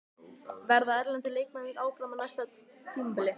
Verða erlendu leikmennirnir áfram á næsta tímabili?